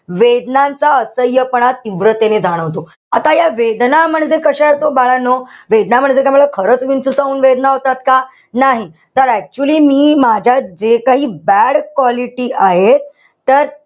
वेदनांचा असह्यपणा तीव्रपणे जाणवतो. आता या वेदना म्हणजे कशा आहेत बाळांनो? वेदना म्हणजे काय मला खरंच विंचू चावून वेदना होतात का? नाही. तर actually मी माझ्या जे काही bad quality आहे. तर,